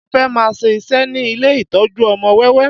Mo fẹ́ máa ṣe iṣẹ́ ní ilé ìtọ́jú ọmọ wẹ́wẹ́